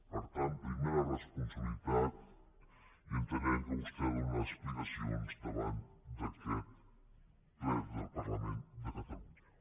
per tant primer la responsabilitat i entenem que vostè ha de donar explicacions davant d’aquest ple del parlament de catalunya